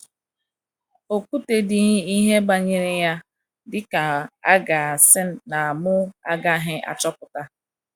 O kwutedịghị ihe banyere ya, dị ka a ga - asị na mụ agaghị achọpụta. ”